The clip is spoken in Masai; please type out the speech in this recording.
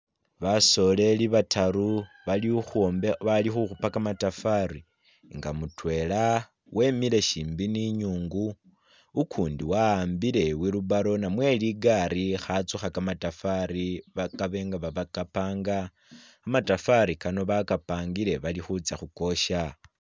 Basoleli bataru bali khukhupa kamatafari nga mutwela wemile shimbi ne inyungu, ukundi waambile i'wilbarrow namwe ligaali akhatsukha kamatafari ba kabe nga bakapanga, kamatafari kano bakapangile bali khutsa khukosha.